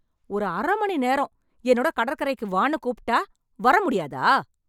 ஒரு அரை மணி நேரம் என்னோட கடற்கரைக்கு வான்னு கூப்பிட்டா வர முடியாதா?